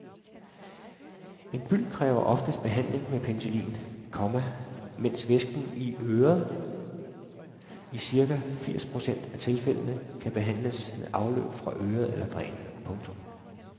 En byld kræver oftest behandling med penicillin, komma mens væsken i øret i cirka firs procent af tilfældene kan behandles med afløb fra øret eller dræn. punktum